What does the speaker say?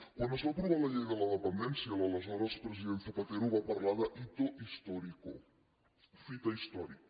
quan es va aprovar la llei de la dependència l’aleshores president zapatero va parlar de hito histórico fita històrica